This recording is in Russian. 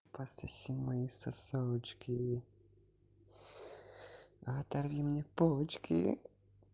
пососи мои сосочки оторви мне почки